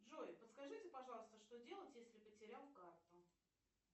джой подскажите пожалуйста что делать если потерял карту